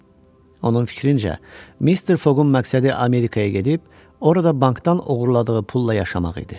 Onun fikrincə, Mister Foqun məqsədi Amerikaya gedib, orada bankdan oğurladığı pulla yaşamaq idi.